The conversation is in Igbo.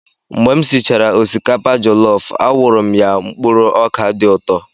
Mgbe m sichara osikapa jọlọf, a wụrụ m ya mkpụrụ ọkà dị ụtọ.